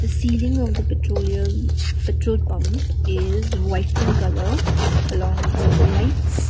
the ceiling of the petroleum petrol pump is white in colour along with some lights.